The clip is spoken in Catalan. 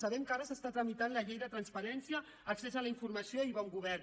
sabem que ara es tramita la llei de transparència accés a la informació i bon govern